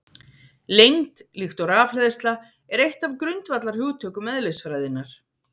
Lengd, líkt og rafhleðsla, er eitt af grundvallarhugtökum eðlisfræðinnar.